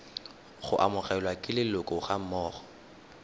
go amogelwa ke leloko gammogo